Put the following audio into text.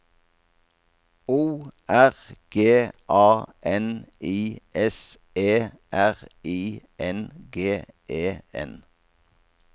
O R G A N I S E R I N G E N